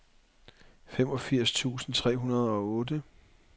femogfirs tusind tre hundrede og otte